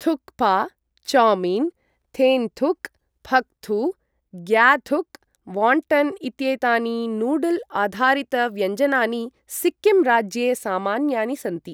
Thukpa, chow mein, thenthuk, phaktu, gyathuk, wonton इत्येतानि noodle आधारितव्यञ्जनानि सिक्किम् राज्ये सामान्यानि सन्ति।